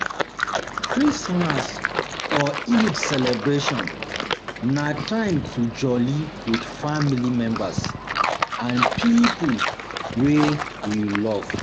Christmas or Eid celebration um na time to joli with family members and pipo wey you um love